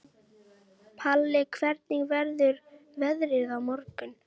Palli, hvernig verður veðrið á morgun?